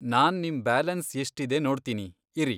ನಾನ್ ನಿಮ್ ಬ್ಯಾಲೆನ್ಸ್ ಎಷ್ಟಿದೆ ನೋಡ್ತೀನಿ ಇರಿ.